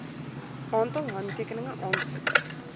aantal handtekeninge aansoeker